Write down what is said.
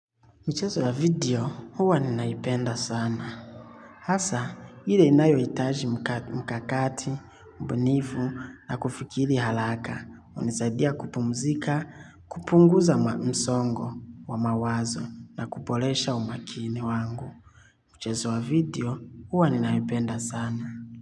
Michezo ya video, huwa ninaipenda sana. Hasa, ile inayohitaji mkakati, mbunifu na kufikiri halaka. Unisaidia kupumzika, kupunguza msongo wa mawazo na kuboresha umakini wangu. Michezo wa video, huwa ninaipenda sana.